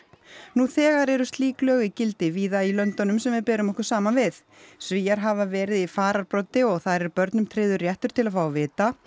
nú þegar eru slík lög í gildi víða í löndunum sem við berum okkur saman við Svíar hafa verið í fararbroddi og þar er börnum tryggður réttur til að fá að vita